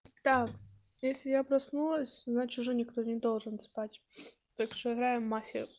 так если я проснулась значит уже никто не должен спать так что играем в мафию